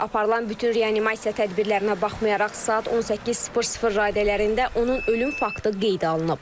Aparılan bütün reanimasiya tədbirlərinə baxmayaraq saat 18:00 radələrində onun ölüm faktı qeydə alınıb.